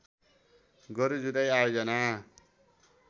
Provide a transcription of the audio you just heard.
गोरु जुधाइ आयोजना